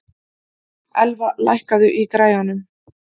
Elva, lækkaðu í græjunum.